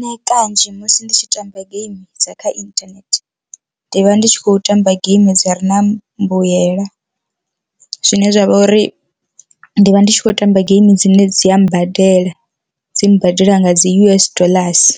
Nṋe kanzhi musi ndi tshi tamba geimi dza kha internet ndi vha ndi tshi khou tamba geimi dza ri na mbuyela, zwine zwavha uri ndi vha ndi tshi khou tamba geimi dzine dzi a badela dzi mbadela nga dzi U_S doḽasi